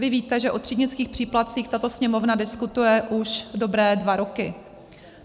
Vy víte, že o třídnických příplatcích tato Sněmovna diskutuje už dobré dva roky.